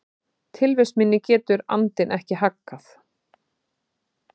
Tilvist minni getur andinn ekki haggað.